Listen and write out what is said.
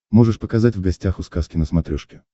можешь показать в гостях у сказки на смотрешке